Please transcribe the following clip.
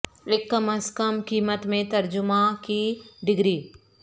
ایک کم از کم قیمت میں ترجمہ کی ڈگری